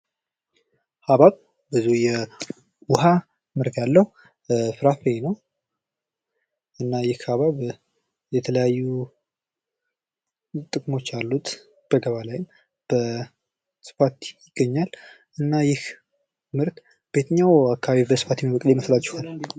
ሃብሃብ የዉሃ ምርት ያለው ፍራፍሬ ነው። እና ይህ ሃብሃብ የተለያዩ ጥቅሞች አሉት። በገበያ ላይም በስፋት ይገኛል። እና ይህ ምርት በየትኛው አካባቢ በስፋት የሚገኝ ይመስላችኋል?